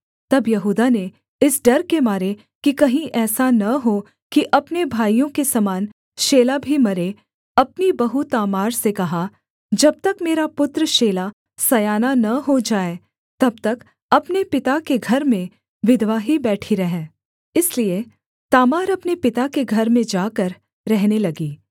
तब यहूदा ने इस डर के मारे कि कहीं ऐसा न हो कि अपने भाइयों के समान शेला भी मरे अपनी बहू तामार से कहा जब तक मेरा पुत्र शेला सयाना न हो जाए तब तक अपने पिता के घर में विधवा ही बैठी रह इसलिए तामार अपने पिता के घर में जाकर रहने लगी